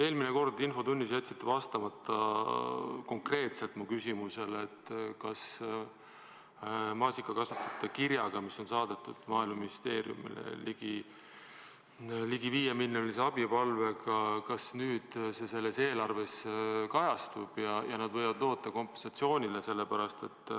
Eelmine kord infotunnis te jätsite konkreetselt vastamata minu küsimusele, kas maasikakasvatajate kiri, mis saadeti Maaeluministeeriumile, palvega anda ligi 5 miljonit abi, selles eelarves kajastub ja nad võivad loota kompensatsioonile.